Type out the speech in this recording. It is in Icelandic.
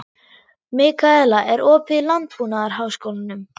Mikaela, er opið í Landbúnaðarháskólanum?